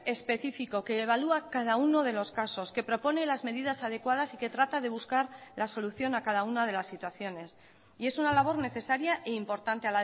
específico que evalúa cada uno de los casos que propone las medidas adecuadas y que trata de buscar la solución a cada una de las situaciones y es una labor necesaria e importante